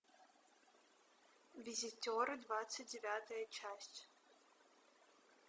визитеры двадцать девятая часть